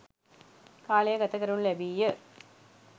කාලය ගත කරනු ලැබීය.